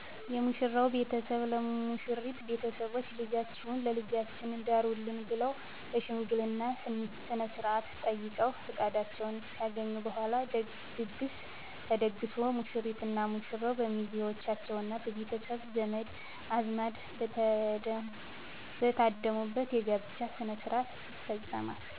የሙሽራው ቤተሰብ ለሙሽሪት ቤተሰቦች ልጃችሁን ለልጃችን ዳሩልን ብለዉ በሽምገልና ስነስርአት ጠይቀዉ ፍቃዳቸውን ካገኙ በኋላ ድግስ ተደግሶ ሙሽሪትና ሙሽራው በሚዜዎቻቸዉና በቤተሰብ ዘመድ አዝማድ በተደሙበት የጋብቻ ሥነ ሥርዓት ይፈፀማል